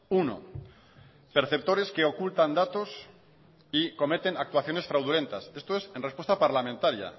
uno perceptores que ocultan datos y cometen actuaciones fraudulentas esto es en respuesta parlamentaria